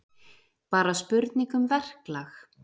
Bara spurning um verklag